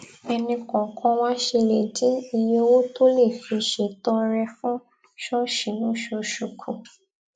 ẹnì kòòkan wa ṣe lè dín iye owó tó lè fi ṣètọrẹ fún ṣóòṣì lóṣooṣù kù